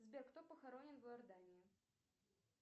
сбер кто похоронен в иордании